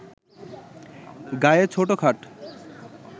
গায়ে ছোট-খাট